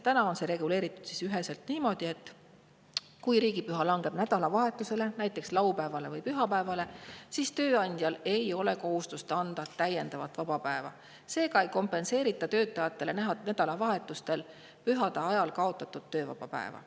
Täna on see reguleeritud üheselt niimoodi, et kui riigipüha langeb nädalavahetusele, näiteks laupäevale või pühapäevale, ei ole tööandjal kohustust anda täiendavat vaba päeva, seega ei kompenseerita töötajatele nädalavahetuste ajal oleva püha tõttu kaotatud töövaba päeva.